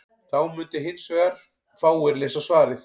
þá mundu hins vegar fáir lesa svarið